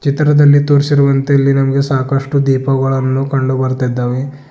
ಚಿತ್ರದಲ್ಲಿ ತೋರಿಸಿರುವಂತೆ ಇಲ್ಲಿ ನಮಗೆ ಸಾಕಷ್ಟು ದೀಪಗಳನ್ನು ಕಂಡು ಬರ್ತಾ ಇದ್ದಾವೆ.